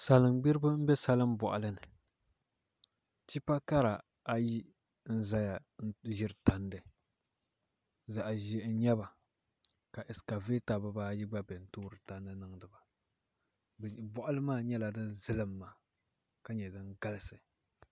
Salin gbiribi n bɛ salin boɣali ni tipa kara ayi n ʒɛya n ʒiri tandi zaɣ ʒiɛhi n nyɛba ka ɛskavɛta bibaayi gba biɛni n toori tandi niŋdiba boɣali maa nyɛla din zilimma ka nyɛ din galisi